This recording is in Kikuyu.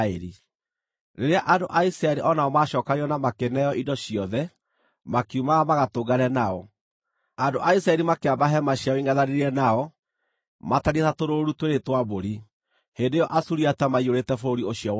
Rĩrĩa andũ a Isiraeli o nao maacookanĩrĩirio na makĩneo indo ciothe, makiumagara magatũngane nao. Andũ a Isiraeli makĩamba hema ciao ingʼethanĩire nao matariĩ ta tũrũũru twĩrĩ twa mbũri. Hĩndĩ ĩyo Asuriata maiyũrĩte bũrũri ũcio wothe.